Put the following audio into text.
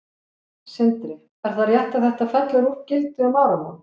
Sindri: Er það rétt að þetta fellur úr gildi um áramót?